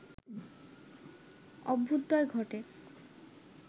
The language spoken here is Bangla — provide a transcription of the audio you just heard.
অভ্যুদয় ঘটে